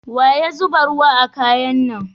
Wa ya zuba ruwa a kaya na?